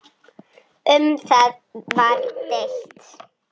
Um það var deilt.